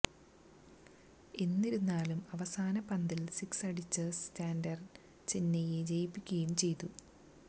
എന്നിരുന്നാലും അവസാന പന്തില് സിക്സ് അടിച്ച് സാന്റ്നര് ചെന്നൈയെ ജയിപ്പിക്കുകയും ചെയ്തു